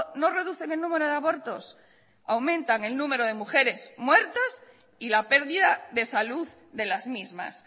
no reducen el número de abortos aumentan el número de mujeres muertas y la pérdida de salud de las mismas